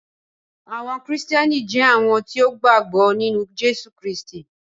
Àwọn Kristiánì jẹ̀ awọn tí o gba gbọ̀ nínu Jésù Kristì.